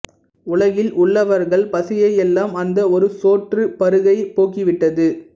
உலகில் உள்ளவர்கள் பசியை எல்லாம் அந்த ஒரு சோற்றுப் பருக்கை போக்கிவிட்டது